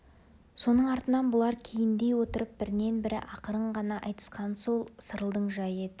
соның артынан бұлар кейіндей отырып біріне-бірі ақырын ғана айтысқаны сол сырылдың жайы еді